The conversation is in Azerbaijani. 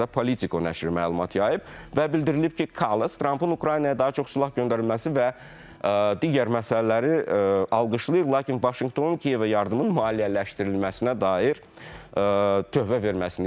Bu barədə Politiko nəşri məlumat yayıb və bildirilib ki, Kallas Trampın Ukraynaya daha çox silah göndərilməsi və digər məsələləri alqışlayır, lakin Vaşinqtonun Kiyevə yardımın maliyyələşdirilməsinə dair tövhə verməsini istəyir.